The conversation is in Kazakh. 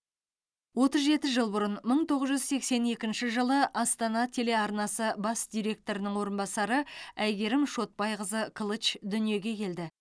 отыз жеті жыл бұрын мың тоғыз жүз сексен екінші жылы астана телеарнасы бас директорының орынбасары әйгерім шотбайқызы кылыч дүниеге келді